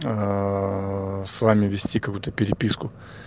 с вами вести какую-то переписку